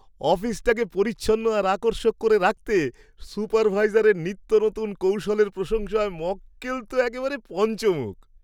অফিসটাকে পরিচ্ছন্ন আর আকর্ষক করে রাখতে সুপারভাইজারের নিত্যনতুন কৌশলের প্রশংসায় মক্কেল তো একেবারে পঞ্চমুখ।